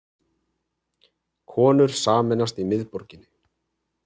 Konur sameinast í miðborginni